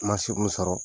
Ma se mun sɔrɔ